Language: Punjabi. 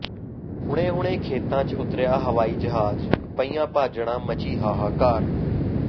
ਹੁਣੇ ਹੁਣੇ ਖੇਤਾਂ ਚ ਉਤਰਿਆ ਹਵਾਈ ਜਹਾਜ ਪਈਆਂ ਭਾਜੜਾਂ ਮਚੀ ਹਾਹਾਕਾਰ